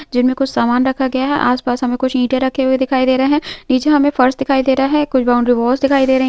जिनमे कुछ सामान रखा गया है आस-पास हमें कुछ ईंटे रखे हुए दिखाई दे रहे हैं निचे हमें फर्श दिखाई दे रहा है कुछ बाउंड्री वॉल्स दिखाई दे रही --